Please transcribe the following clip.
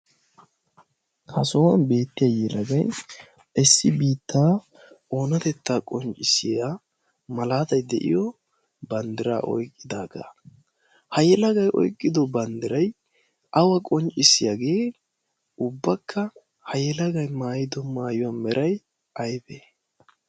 ha sohuwan beettiya yyelagai ssi biittaa oonatettaa qonccissiya malaatai de'iyo banddira oyqqidaagaa ha yelagay oyqqido banddiray awa qonccissiyaagee ubbakka ha yelagay maayido maayuwaa meray aybee?